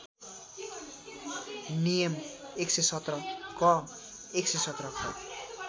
नियम ११७ क ११७ ख